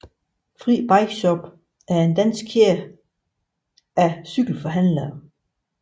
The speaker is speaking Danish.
Fri BikeShop er en dansk kæde af cykelforhandlere